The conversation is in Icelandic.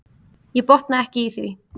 Ég botna ekki í því.